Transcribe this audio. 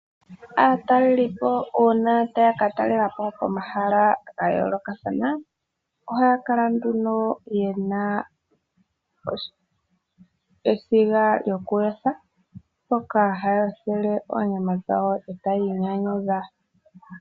Aatalelipo uuna taya ka talela po pomahala ga yoolokathana ohaya kala nduno ye na esiga lyokuyotha mpoka haya yothele oonyama dhawo e taya inyanyudha.